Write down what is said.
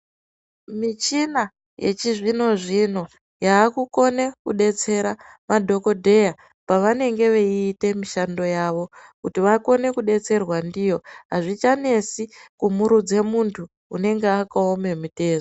Michina yechizvino zvino, yakukone kudetsera madhokodheya pavanenge veyite mishando yavo, kuti vakone kudetserwa ndiyo. Hazvichanetsi kumurudze muntu unenge wakawoma mutezu.